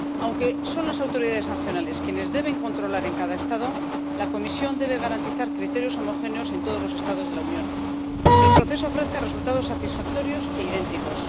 Aunque son las autoridades nacionales quienes deben controlar en cada Estado, la Comisión debe garantizar criterios homogéneos en todos los Estados de la Unión y que el proceso ofrezca resultados satisfactorios e idénticos.